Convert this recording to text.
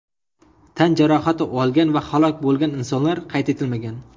Tan jarohati olgan va halok bo‘lgan insonlar qayd etilmagan.